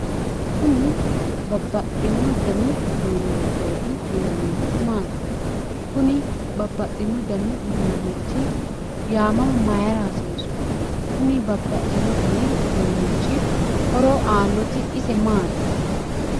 Kuni babbaxino danni uduunichoti yinnannihu maati, kuni babbaxino dani uduunichi yaamama mayra hasiisu ,kuni babbaxino danni uduunichi horo aanoti ise maati?